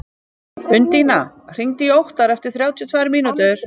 Undína, hringdu í Óttar eftir þrjátíu og tvær mínútur.